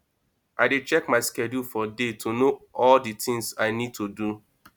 i dey check my schedule for day to know all the things i need to do